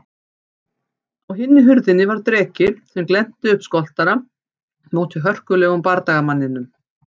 Á hinni hurðinni var dreki sem glennti upp skoltana móti hörkulegum bardagamanninum.